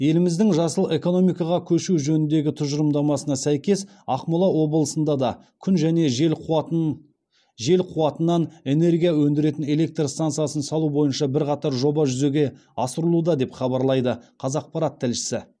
еліміздің жасыл экономикаға көшу жөніндегі тұжырымдамасына сәйкес ақмола облысында да күн және жел қуатын жел қуатынан энергия өндіретін электр стансасын салу бойынша бірқатар жоба жүзеге асырылуда деп хабарлайды қазақпарат тілшісі